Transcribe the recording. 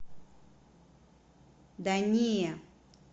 да не